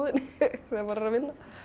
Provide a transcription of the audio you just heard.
þegar maður er að vinna